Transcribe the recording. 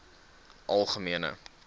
algemene